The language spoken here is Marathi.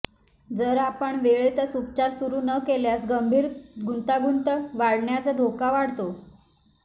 जर आपण वेळेतच उपचार सुरू न केल्यास गंभीर गुंतागुंत वाढण्याचा धोका वाढतो